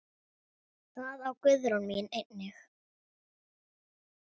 Það á Guðrún mín einnig.